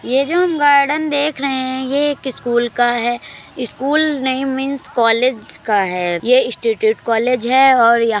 ये जो हम गार्डन देख रहे हैं ये एक स्कूल का है स्कूल नहीं मीन्स कॉलेज का है ये इंस्टीटूट कॉलेज है और या --